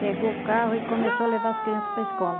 Pegou o carro e começou a levar as crianças para a escola.